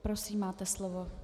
Prosím, máte slovo.